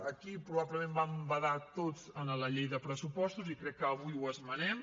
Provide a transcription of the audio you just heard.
aquí probablement vam badar tots en la llei de pressupostos i crec que avui ho esmenem